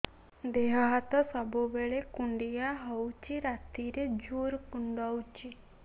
ଦେହ ହାତ ସବୁବେଳେ କୁଣ୍ଡିଆ ହଉଚି ରାତିରେ ଜୁର୍ କୁଣ୍ଡଉଚି